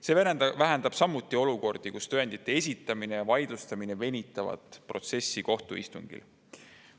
See vähendab samuti olukordi, kus tõendite esitamine ja vaidlustamine venitavad protsessi kohtuistungil.